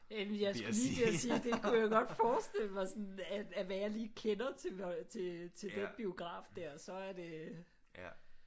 Jeg skulle lige til at sige det kunne jeg godt forestille mig sådan af af hvad jeg lige kender til den biograf der så er det